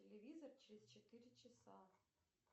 телевизор через четыре часа